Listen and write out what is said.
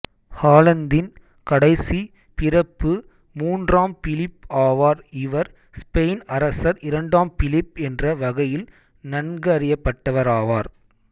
ஹாலந்தின் கடைசி பிரபு மூன்றாம் பிலிப் ஆவார் இவர் ஸ்பெயின் அரசர் இரண்டாம் பிலிப் என்ற வகையில் நன்கறியப்பட்டவராவார்